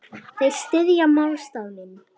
Þeir styðja málstað minn.